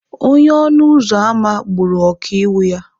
Onye ọnụ ụzọ ámá gburu ọkaiwu ya.